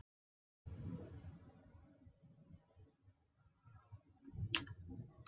Umfjöllunarefni skýrslunnar er Baráttan við loftslagsbreytingar: Samstaða manna í sundruðum heimi.